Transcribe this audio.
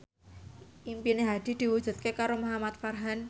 impine Hadi diwujudke karo Muhamad Farhan